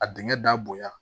A dingɛ da bonɲa